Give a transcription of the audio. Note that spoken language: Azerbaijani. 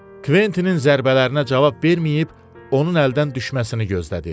Kvettinin zərbələrinə cavab verməyib, onun əldən düşməsini gözlədi.